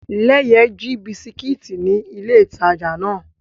Leye ji bisikiti ni ile itaja náà